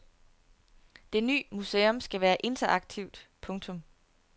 Det ny museum skal være interaktivt. punktum